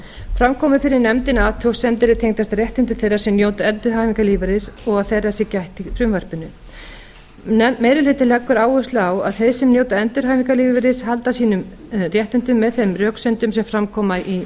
fram komu fyrir nefndinni athugasemdir er tengjast réttindum þeirra sem njóta endurhæfingarlífeyris og að þeirra sé gætt í frumvarpinu meiri hlutinn leggur því áherslu á að þeir sem njóta endurhæfingarlífeyris halda sínum réttindum með þeim röksemdum sem fram koma í